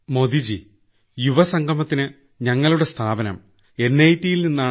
മോദിജീ യുവസംഗമത്തിന് ഞങ്ങളുടെ സ്ഥാപനം NITയിൽ